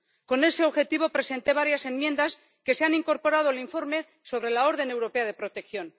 Con ese objetivo presenté varias enmiendas que se han incorporado el informe sobre la orden europea de protección.